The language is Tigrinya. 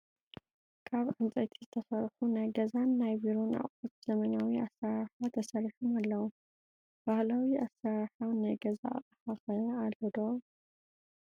ካብ ዕንፀይቲ ዝተሰርሑ ናይ ገዛን ናይ ቢሮን ኣቁሑት ብዘበናዊ ኣራርሓ ተሰሪሖም ኣለው። ባህላዊ ኣሰራርሓ ናይ ገዛ ኣቅሓ ከ ኣሎ ዶ ?